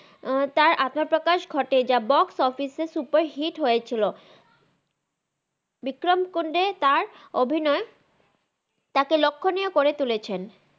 তার আত্মাপ্রাকাশ ঘতেন থে বক্স অফিস এ সুপ্পের হিট হয়েছিল বিক্রাম কুন্দে তার অভিনয় তাকে লখহনিয় করে তুলেছেন